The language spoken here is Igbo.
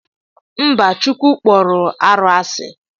Mba chukwu kpọru arụ asi.